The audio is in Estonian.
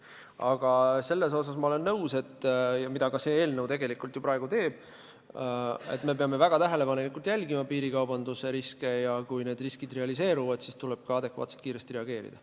Aga sellega olen nõus, et me peame väga tähelepanelikult jälgima piirikaubanduse riske ja kui need realiseeruvad, siis tuleb ka adekvaatselt kiiresti reageerida.